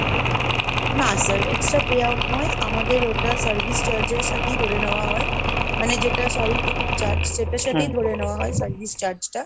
না sir extra pay out নয়, আমাদের ওটা service charge এর সাথেই ধরে নেওয়া হয়, মানে যেটা sorry ticket charge সেটার সাথেই ধরে নেওয়া হয় service charge টা।